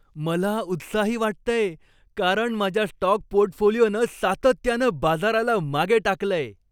मला उत्साही वाटतंय, कारण माझ्या स्टॉक पोर्टफोलिओनं सातत्यानं बाजाराला मागे टाकलंय.